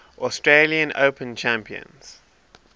australian open champions